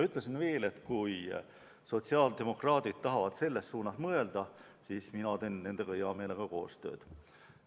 Ütlesin veel, et kui sotsiaaldemokraadid tahavad selles suunas mõelda, siis mina teen nendega heameelega koostööd.